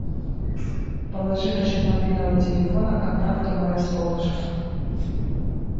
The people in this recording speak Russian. положи на счет мобильного телефона контакту мое солнышко